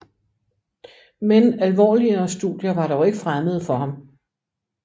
Men alvorligere studier var dog ikke fremmede for ham